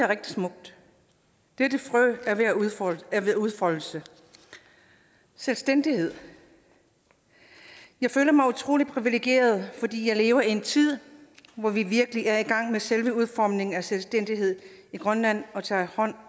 rigtig smukt dette frø er ved at udfolde at udfolde sig selvstændighed jeg føler mig utrolig privilegeret fordi jeg lever i en tid hvor vi virkelig er i gang med selve udformningen af selvstændighed i grønland og tager hånd